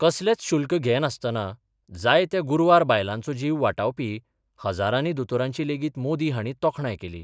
कसलेच शूल्क घे नासताना जायत्या गुरवांर बायलांचो जीव वाटावपी हजारानी दोतोरांची लेगीत मोदी हांणी तोखणाय केली.